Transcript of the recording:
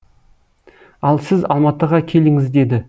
ал сіз алматыға келіңіз деді